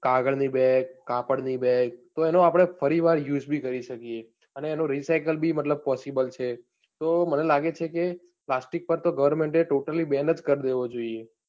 કાગળ ની બેગ, કાપડ ની બેગ, તો એનો આપણે ફરી વાર use બી કરી શકીયે, અને એનું recycle બી મતલબ possible છે.